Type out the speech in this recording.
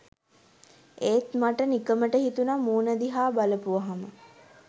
එත් මට නිකමට හිතුනා මූණ දිහා බලපුවහම